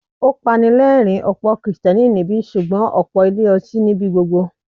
Ó pani lẹ́rìń, ọ̀pọ̀ Kristẹni níbí, ṣùgbọ́n ọ̀pọ̀ ilé ọtí ní ibi gbogbo.